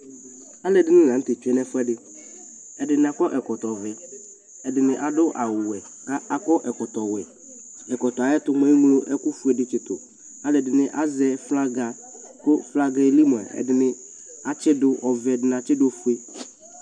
alʋɛdini lantɛ twɛnʋ ɛƒʋɛdi ɛdini akɔ ɛkɔtɔ vɛ ,ɛdini adʋ awʋ wɛ ka akɔ ɛkɔtɔ wɛ ɛkɔtɔɛ ayɛtʋ mʋa ɛmlɔ ɛkʋƒʋɛ di tsitʋ, alʋɛdini azɛ ƒlaga kʋ flagaɛ ɛli mʋa ɛdini atsidʋ ɔvɛ ɛdini atsidʋ ɔƒʋɛ